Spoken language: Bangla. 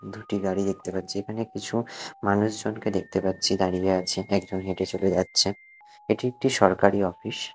দুটি গাড়ি দেখতে পাচ্ছি এখানে কিছু মানুষজনকে দেখতে পাচ্ছি দাঁড়িয়ে আছে একজন হেঁটে চলে যাচ্ছে এটি একটি সরকারি অফিস ।